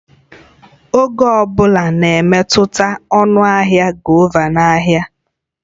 Oge ọ bụla na-emetụta ọnụ ahịa govà na ahịa